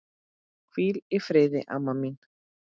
Hvíl í friði, amma mín.